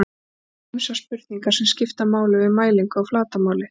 Svo eru ýmsar spurningar sem skipta máli við mælingu á flatarmáli.